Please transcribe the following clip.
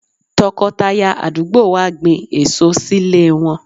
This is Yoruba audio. Tọkọtaya àdúgbò wa gbin èso sílé wọn.